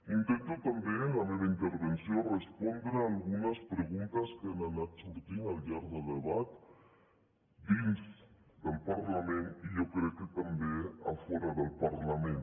intento també en la meva intervenció respondre algunes preguntes que han anat sortint al llarg del debat dins del parlament i jo crec que també fora del parlament